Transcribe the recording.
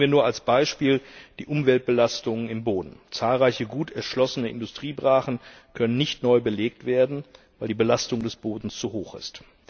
Nehmen wir nur als Beispiel die Umweltbelastungen im Boden Zahlreiche gut erschlossene Industriebrachen können nicht neu belegt werden, weil die Belastung des Bodens zu hoch ist.